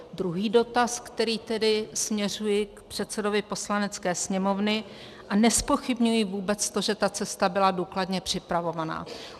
Druhý dotaz, který tedy směřuji k předsedovi Poslanecké sněmovny, a nezpochybňuji vůbec to, že ta cesta byla důkladně připravovaná.